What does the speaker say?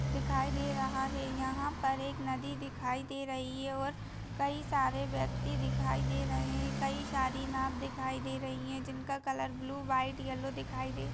दिखाई दे रहा है यहाँ पर एक नदी दिखाई दे रही है और कई सारे व्यक्ति दिखाई दे रहे हैं कई सारी नाव दिखाई दे रही हैं जिनका कलर ब्लू वाइट येलो दिखाई दे--